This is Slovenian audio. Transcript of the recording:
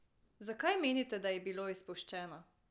Zakaj menite, da je bilo izpuščeno?